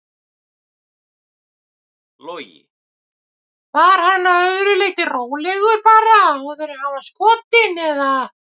Logi: Var hann að öðru leyti rólegur bara áður en hann var skotinn eða?